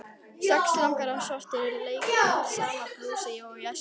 Sex langafar svartir leika sama blús og í æsku.